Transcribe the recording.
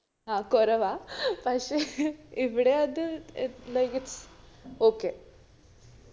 ആ കൊറവാ പക്ഷെ ഇവിടെ അത് ഏർ okay